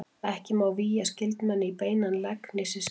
Ekki má vígja skyldmenni í beinan legg né systkin.